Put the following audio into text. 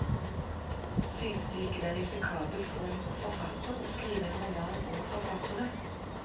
Synes du ikke det er risikabelt for en forfatter å skrive en roman om forfattere?